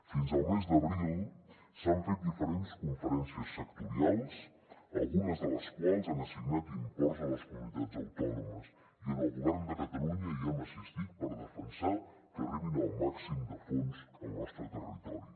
fins al mes d’abril s’han fet diferents conferències sectorials algunes de les quals han assignat imports a les comunitats autònomes i el govern de catalunya i hem assistit per defensar que arribin el màxim de fons al nostre territori